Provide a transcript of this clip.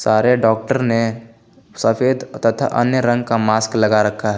सारे डॉक्टर ने सफेद तथा अन्य रंग का मास्क लगा रखा है।